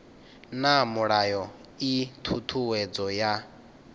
na mulayo ii thuthuwedzo ya